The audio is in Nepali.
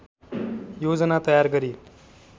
योजना तयार गरी